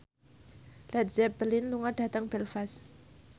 Led Zeppelin lunga dhateng Belfast